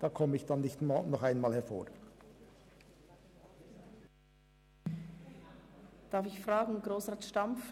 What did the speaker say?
Ich werde dann nicht nochmals ans Mikrofon treten.